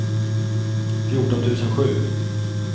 fjorton tusen sju